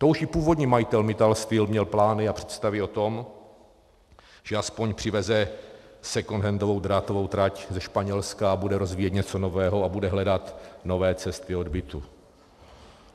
To už i původní majitel Mittal Steel měl plány a představy o tom, že aspoň přiveze secondhandovou drátovou trať ze Španělska a bude rozvíjet něco nového a bude hledat nové cesty odbytu.